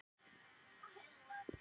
er ég úti á túni í þessu